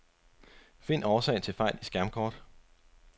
Find årsag til fejl i skærmkort.